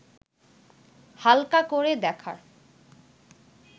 হালকা করে দেখার